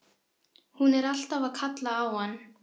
Hún er alltaf að kalla á hann.